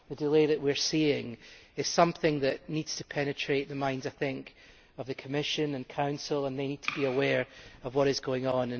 The delay that we are seeing is something that needs to penetrate the minds of the Commission and Council, and they need to be aware of what is going on.